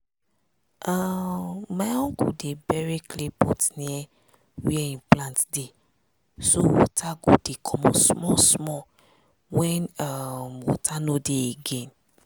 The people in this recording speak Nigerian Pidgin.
um my uncle dey bury clay pots near where hin plants dey so water go dey comot small small when um water no dey again.